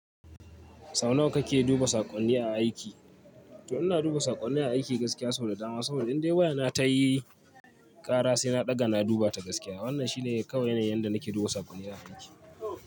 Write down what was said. Sau nawa kake duba saƙonni a aiki? To ina duba saƙonni a aiki gaskiya sau da dama. Saboda in dai waya na ta yi kara sai na ɗaga na duba ta gaskiya. Wannan shi ne kawai yanayin da nake duba saƙonni a aiki.